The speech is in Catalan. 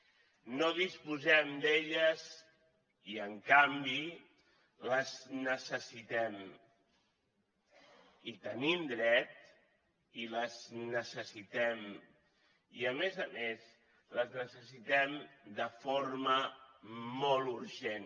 no disposem d’elles i en canvi les necessitem hi tenim dret i les necessitem i a més a més les necessitem de forma molt urgent